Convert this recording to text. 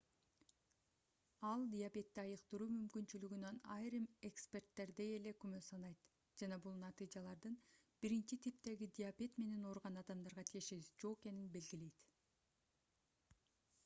ал диабетти айыктыруу мүмкүнчүлүгүнөн айрым эксперттердей эле күмөн санайт жана бул натыйжалардын 1-типтеги диабет менен ооруган адамдарга тиешеси жок экенин белгилейт